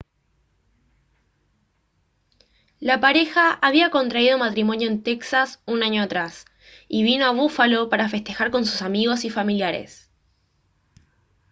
la pareja había contraído matrimonio en texas un año atrás y vino a búfalo para festejar con sus amigos y familiares